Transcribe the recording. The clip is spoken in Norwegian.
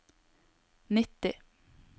nitti